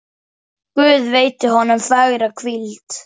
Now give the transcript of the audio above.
Guð veiti honum fagra hvíld.